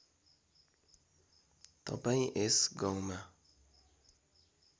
तपाईँ यस गाउँमा